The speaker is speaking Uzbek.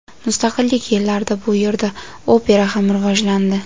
Mustaqillik yillarida bu yerda opera ham rivojlandi.